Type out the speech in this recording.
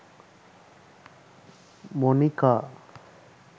monika